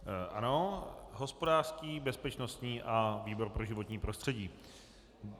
Ano - hospodářský, bezpečnostní a výbor pro životní prostředí.